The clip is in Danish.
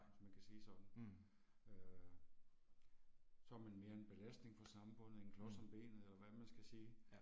Hvis man kan sige sådan. Øh. Så er man mere end belastning for samfundet, en klods om benet eller hvad man skal sige